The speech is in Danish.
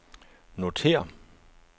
notér